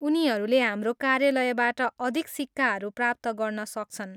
उनीहरूले हाम्रो कार्यलयबाट अधिक सिक्काहरू प्राप्त गर्न सक्छन्।